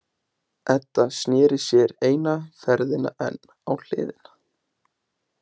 Edda sneri sér eina ferðina enn á hliðina.